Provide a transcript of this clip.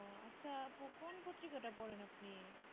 আচ্ছা কোন পত্রিকাটা পড়েন আপনি